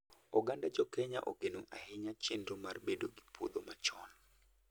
oganda jokenya ogeno ahinya chenro mar bedo gi puodho machon